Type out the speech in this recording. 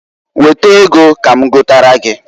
Weta ego ka m gotara gi.